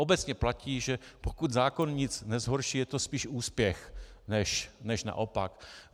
Obecně platí, že pokud zákon nic nezhorší, je to spíš úspěch než naopak.